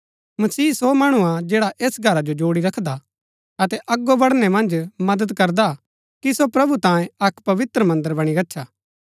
मसीह सो मणु हा जैड़ा ऐस घरा जो जोड़ी रखदा हा अतै अगो बढ़णै मन्ज मदद करदा कि सो प्रभु तांये अक्क पवित्र मन्दर बणी गच्छा